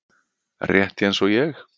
Rétt eins og ég.